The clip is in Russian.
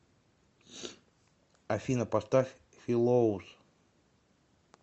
афина поставь филоус